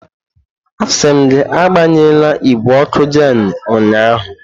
Asị m gị agbanyela igwe ọkụ Jenu ụnyahụ!